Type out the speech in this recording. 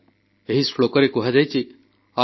ଶତ୍ରୁବୁଦ୍ଧିବିନାଶାୟ ଦୀପଜ୍ୟୋତିର୍ନମୋସ୍ତୁତେ